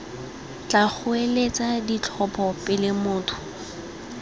tla goeletsa ditlhopho pele motlha